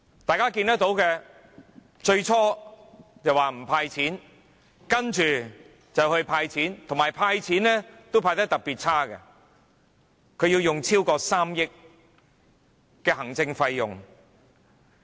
大家看到他最初說不"派錢"，接着"派錢"，但"派錢"也派得特別差，他要花超過3億元行政費用。